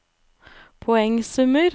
poengsummer